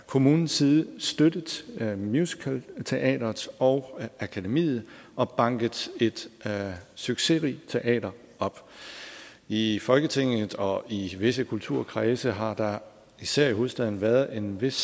kommunens side støttet musicalteateret og akademiet og banket et succesrigt teater op i folketinget og i visse kulturkredse har der især i hovedstaden været en vis